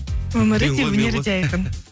өмірі де өнері де айқын